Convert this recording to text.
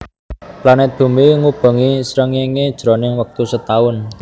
Planet bumi ngubengi srengéngé jroning wektu setaun